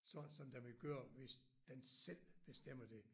Så sådan den ville køre hvis den selv bestemmer det